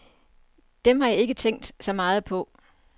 Dem har jeg ikke tænkt så meget på.